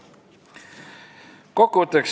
Kokkuvõtteks.